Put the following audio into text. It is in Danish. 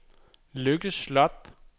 Lykke Sloth